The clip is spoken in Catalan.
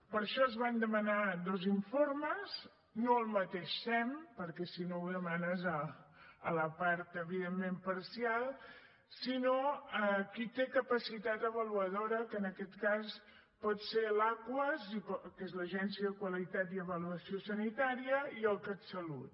per això es van demanar dos informes no al mateix sem perquè si no ho demanes a la part evidentment parcial sinó a qui té capacitat avaluadora que en aquest cas pot ser l’aquas que és l’agència de qualitat i avaluació sanitàries i el catsalut